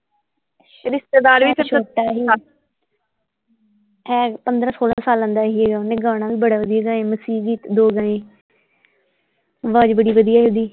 ਰਿਸ਼ਤੇਦਾਰ ਵੀ ਹੈਗਾ ਪੰਦਰਾਂ ਸੋਲਾਹ ਸਾਲਾਂ ਦਾ ਸੀ ਓਹਨੇ ਗਾਣਾ ਵੀ ਬੜਾ ਵਧੀਆ ਗਾਇਆ ਮਸੀਹ ਜੀ ਦੋ ਆਵਾਜ਼ ਬੜੀ ਵਧੀਆ ਸੀ ਓਹਦੀ।